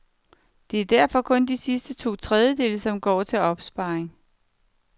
Det er derfor kun de sidste to tredjedele, som går til opsparing.